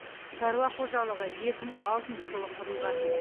шаруа қожалығы екі мың алтыншы жылы құрылған